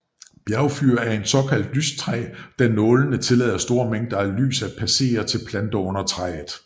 Bjergfyr er et såkaldt lystræ da nålene tillader store mængder lys at passere til planter under træet